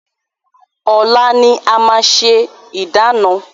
Ọ̀la ni a máa ṣe ìdána.